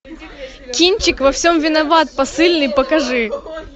кинчик во всем виноват посыльный покажи